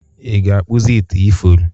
ị ga-akpụzi ite ifuru?